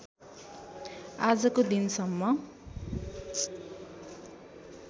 आजको दिनसम्म